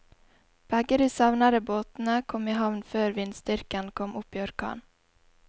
Begge de savnede båtene kom i havn før vindstyrken kom opp i orkan.